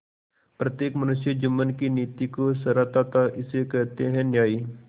प्रत्येक मनुष्य जुम्मन की नीति को सराहता थाइसे कहते हैं न्याय